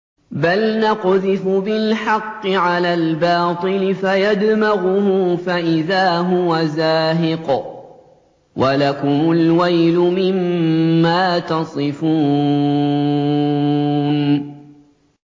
بَلْ نَقْذِفُ بِالْحَقِّ عَلَى الْبَاطِلِ فَيَدْمَغُهُ فَإِذَا هُوَ زَاهِقٌ ۚ وَلَكُمُ الْوَيْلُ مِمَّا تَصِفُونَ